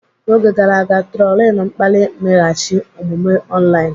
N'oge gara aga, trolin mkpali mmeghachi omume online.